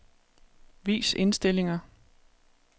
Vis indstillinger.